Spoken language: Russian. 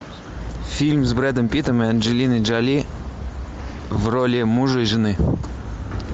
фильм с брэдом питтом и анджелиной джоли в роли мужа и жены